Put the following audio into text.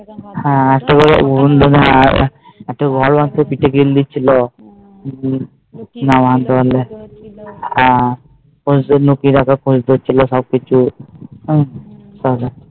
হ্যাঁ তারপরে বন্ধু গুলো পিঠে কিল দিছিলো হ্যাঁ তোর জন্য কিরকম করছিলো সব কিছু